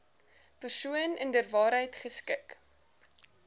persoon inderwaarheid geskik